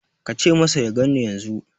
Ka ce masa ya ganni yanzu.